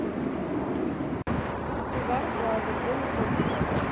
сувар плаза где находится